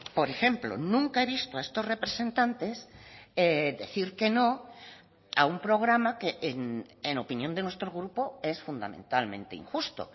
por ejemplo nunca he visto a estos representantes decir que no a un programa que en opinión de nuestro grupo es fundamentalmente injusto